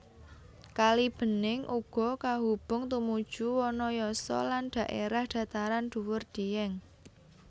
Kalibening uga kahubung tumuju Wanayasa lan dhaérah dhataran dhuwur Dieng